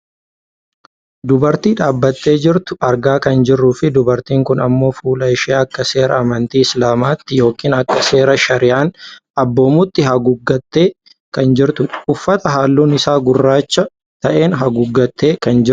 Dubartii dhaabbattee jirtu argaa kan jirruufi dubartiin kun ammoo fuula ishee akka seera amantii islaamaatti yookaan akka seera shariyaan abboomutti haguuggattee kan jirtudha. Uffata halluun isaa gurraacha ta'een haguuggattee kan jirtudha.